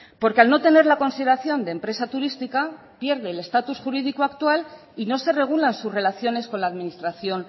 porque al no tener la consideración de empresa turística pierde el estatus jurídico actual y no se regula sus relaciones con la administración